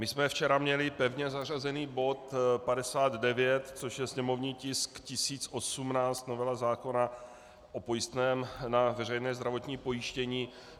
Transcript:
My jsme včera měli pevně zařazený bod 59, což je sněmovní tisk 1018, novela zákona o pojistném na veřejné zdravotní pojištění.